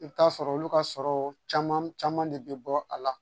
I bɛ t'a sɔrɔ olu ka sɔrɔ caman caman de bɛ bɔ a la